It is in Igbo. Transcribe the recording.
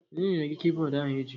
Onye nyere gị kibọọdụ ahụ iji?